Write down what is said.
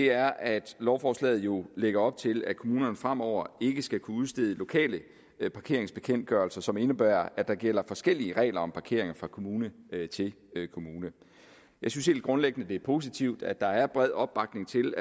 er at lovforslaget jo lægger op til at kommunerne fremover ikke skal kunne udstede lokale parkeringsbekendtgørelser som indebærer at der gælder forskellige regler om parkering fra kommune til kommune jeg synes helt grundlæggende at det er positivt at der er bred opbakning til